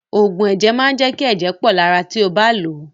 Òògùn ẹ̀jẹ̀ máa jẹ́ kí ẹ̀jẹ̀ pọ lára ti ó bá lòó.